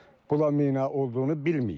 Bula mina olduğunu bilməyib.